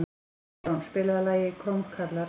Eron, spilaðu lagið „Krómkallar“.